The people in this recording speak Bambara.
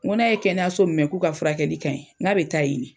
Ŋo n'a ye kɛnɛyaso min mɛ k'u ka furakɛli ka ɲi, ŋ'a bɛ taa yen ne.